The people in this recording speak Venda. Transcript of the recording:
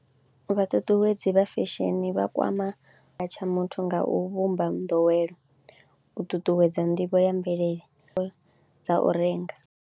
Vhaṱutuwedzi vha fesheni vha kwama tsha muthu nga u vhumba nḓowelo, u ṱuṱuwedza nḓivho ya mvelele dza u renga.